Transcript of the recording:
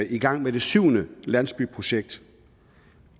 i gang med det syvende landsbyprojekt